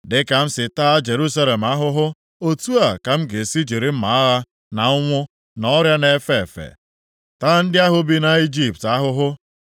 Dịka m si taa Jerusalem ahụhụ, otu a ka m ga-esi jiri mma agha, na ụnwụ, na ọrịa na-efe efe, taa ndị ahụ bi nʼIjipt ahụhụ.